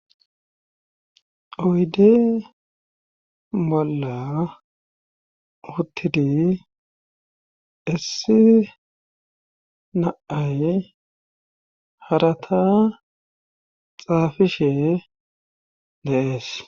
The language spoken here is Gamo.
Oyde bolla uttidi issi naay harata xaafishe deees